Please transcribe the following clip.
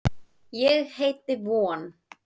Ég heiti von.